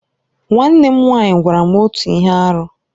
Nwanne m nwaanyị gwara m otu ihe arụ.